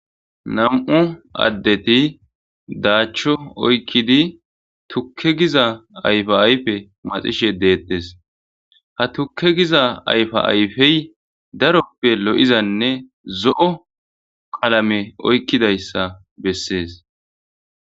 Nam'u addeti daacho oykidi tukke giza ayfa ayfe maxishe de'etees ha tukke giza ayfa ayfey daroppe lo'izanne zo'o qalame oykidayssa bessees.